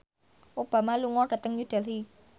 Obama lunga dhateng New Delhi